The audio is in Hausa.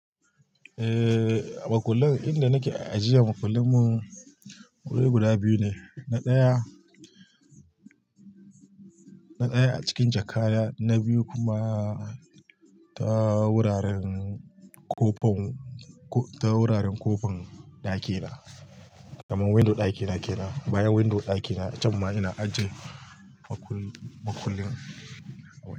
Eh, makullin inda nake ajiye makullin mu guda biyu ne. Na ɗaya, na ɗaya a cikin jakka na biyu kuma ta wuraren kofin, ta wuraren kofin ɗakina, kamar window ɗakina kenan. Bayan window ɗakina can ma ina ajje makullin.